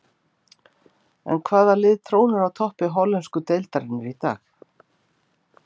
En hvaða lið trónir á toppi hollensku deildarinnar í dag?